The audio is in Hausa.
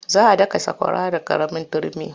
Za a daka sakwara da ƙaramin turmi.